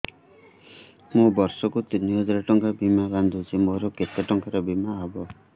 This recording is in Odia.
ମୁ ବର୍ଷ କୁ ତିନି ହଜାର ଟଙ୍କା ବୀମା ବାନ୍ଧୁଛି ମୋର କେତେ ଟଙ୍କାର ବୀମା ହବ